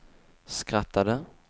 skrattade